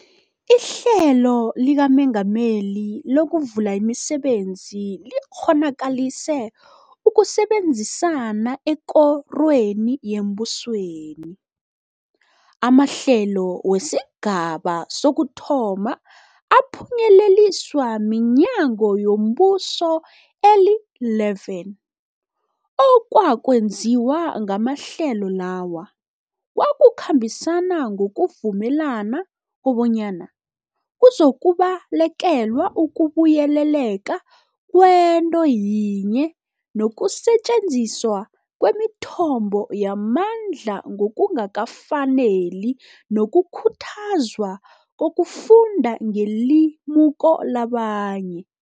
IHlelo likaMengameli lokuVula imiSebenzi likghonakalise ukusebenzisana ekorweni yembusweni. Amahlelo wesigaba sokuthoma aphunyeleliswa minyango yombuso eli-11. Okwakwenziwa ngamahlelo lawa kwakukhambisana ngokuvumelana kobanyana kuzokubalekelwa ukubuyeleleka kwento yinye nokusetjenziswa kwemithombo yamandla ngokungakafaneli nokukhuthazwa kokufunda ngelimuko labanye.